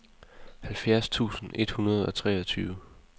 halvfjerds tusind et hundrede og treogtyve